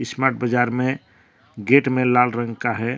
Smart Bazaar में gate में लाल रंग का है।